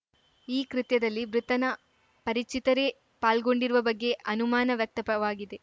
ಈ ಕೃತ್ಯದಲ್ಲಿ ಮೃತನ ಪರಿಚಿತರೇ ಪಾಲ್ಗೊಂಡಿರುವ ಬಗ್ಗೆ ಅನುಮಾನ ವ್ಯಕ್ತಪವಾಗಿದೆ